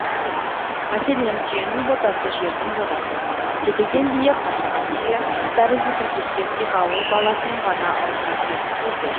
мәселен түйенің ботасы жердің жотасы тебеген бие қашаған түйе тәрізді тіркестер тек ауыл баласының ғана аузына түсетін сөздер